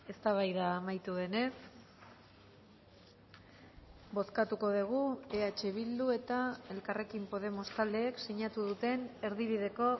eztabaida amaitu denez bozkatuko dugu eh bildu eta elkarrekin podemos taldeek sinatu duten erdi bideko